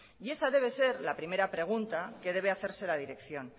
y esa debe ser la primera pregunta que debe hacerse la dirección